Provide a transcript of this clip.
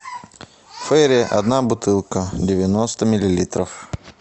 фейри одна бутылка девяносто миллилитров